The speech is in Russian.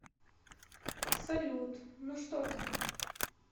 салют ну что ты